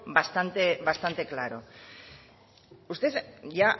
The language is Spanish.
bastante claro usted ya